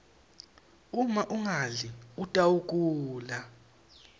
uma ungadli utawgula